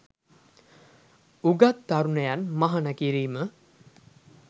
උගත් තරුණයන් මහණ කිරීම